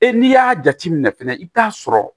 Ee n'i y'a jateminɛ fɛnɛ i bɛ t'a sɔrɔ